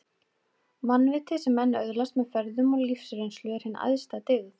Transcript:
Mannvitið, sem menn öðlast með ferðum og lífsreynslu, er hin æðsta dyggð